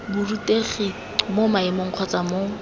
borutegi mo maemong kgotsa mo